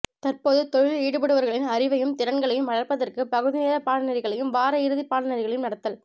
தற்போது தொழிலில் ஈடுபடுவர்களின் அறிவையும் திறன்களையும் வளர்ப்பதற்குப் பகுதி நேரப் பாடநெறிகளையும் வார இறுதிப் பாடநெறிகளையும் நடத்தல்